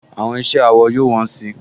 Àwọn iṣẹ́ awọ yóò wọ́n si